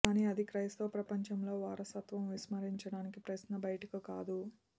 కానీ అది క్రైస్తవ ప్రపంచంలో వారసత్వం విస్మరించడానికి ప్రశ్న బయటకు కాదు